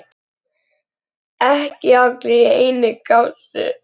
Gætirðu ekki farið í megrun?